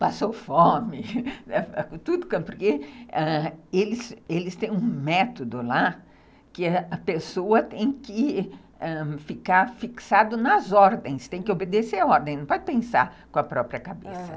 passou fome, porque eles têm um método lá que a pessoa tem que ficar fixada nas ordens, tem que obedecer a ordem, não pode pensar com a própria cabeça.